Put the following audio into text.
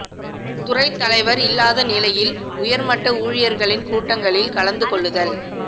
துறை தலைவர் இல்லாத நிலையில் உயர் மட்ட ஊழியர்களின் கூட்டங்களில் கலந்து கொள்ளுதல்